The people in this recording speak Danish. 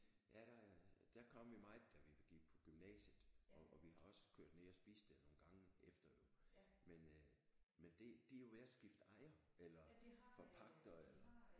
Ja der der kom vi meget da vi gik på gymnasiet og og vi har også kørt ned og spist der nogle gange efter jo men det øh men det de er jo ved at skifte ejer eller forpagter eller